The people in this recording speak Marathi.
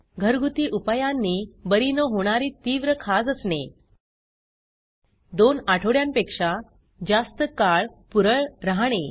घरगुती उपायांनी बरी न होणारी तीव्र खाज असणे दोन आठवड्यांपेक्षा जास्त काळ पुरळ राहणे